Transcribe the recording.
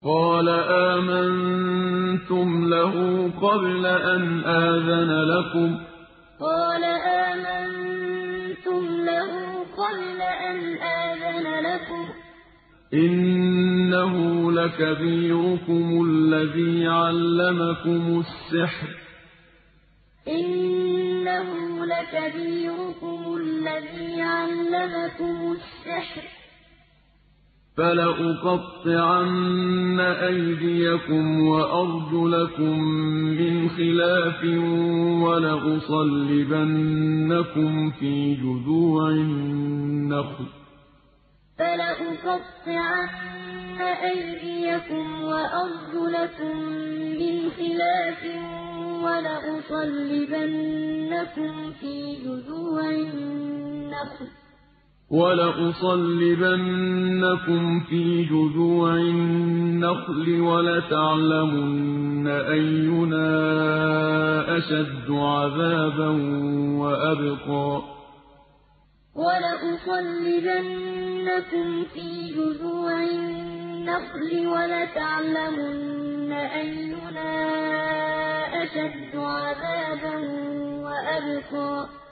قَالَ آمَنتُمْ لَهُ قَبْلَ أَنْ آذَنَ لَكُمْ ۖ إِنَّهُ لَكَبِيرُكُمُ الَّذِي عَلَّمَكُمُ السِّحْرَ ۖ فَلَأُقَطِّعَنَّ أَيْدِيَكُمْ وَأَرْجُلَكُم مِّنْ خِلَافٍ وَلَأُصَلِّبَنَّكُمْ فِي جُذُوعِ النَّخْلِ وَلَتَعْلَمُنَّ أَيُّنَا أَشَدُّ عَذَابًا وَأَبْقَىٰ قَالَ آمَنتُمْ لَهُ قَبْلَ أَنْ آذَنَ لَكُمْ ۖ إِنَّهُ لَكَبِيرُكُمُ الَّذِي عَلَّمَكُمُ السِّحْرَ ۖ فَلَأُقَطِّعَنَّ أَيْدِيَكُمْ وَأَرْجُلَكُم مِّنْ خِلَافٍ وَلَأُصَلِّبَنَّكُمْ فِي جُذُوعِ النَّخْلِ وَلَتَعْلَمُنَّ أَيُّنَا أَشَدُّ عَذَابًا وَأَبْقَىٰ